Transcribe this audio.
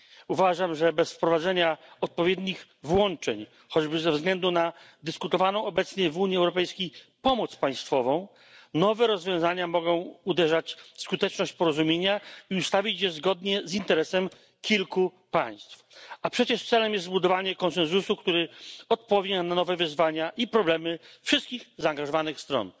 Uważam, że bez wprowadzenia odpowiednich włączeń choćby ze względu na dyskutowaną obecnie w Unii Europejskiej pomoc państwową nowe rozwiązania mogą uderzać w skuteczność porozumienia i ustawić je zgodnie z interesem kilku państw, a wtedy wcale nie dojdzie do zbudowania konsensusu, który odpowie na nowe wyzwania i problemy wszystkich zaangażowanych stron.